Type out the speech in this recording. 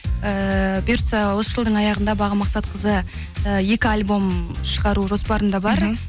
ыыы бұйыртса осы жылдың аяғында бағым мақсатқызы ы екі альбом шығару жоспарында бар